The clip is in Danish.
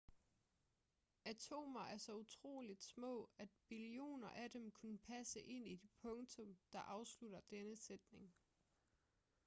atomer er så utroligt små at billioner af dem kunne passe ind i det punktum der afslutter denne sætning